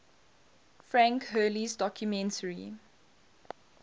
frank hurley's documentary